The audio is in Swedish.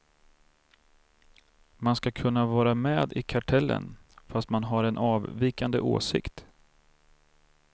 Man ska kunna vara med i kartellen fast man har en avvikande åsikt.